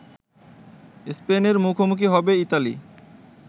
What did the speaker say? স্পেনের মুখোমুখি হবে ইতালি